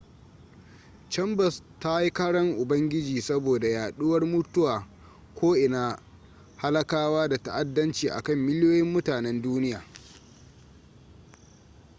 chambers ta yi karan ubangiji saboda yaɗuwar mutuwa ko'ina halakawa da ta'addanci akan miliyoyin mutanen duniya